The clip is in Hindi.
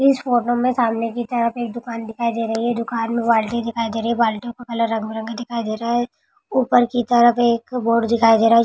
इस फोटो मे सामने के तरह एक दूकान दिखाई दे रही है दूकान मे बाल्टी दिखाई दे रही है बाल्टी की कलर रंग-बिरंगी दिखाई दे रहा है ऊपर की तरफ एक बोर्ड दिखाई दे रहा है।